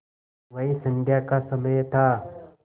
वही संध्या का समय था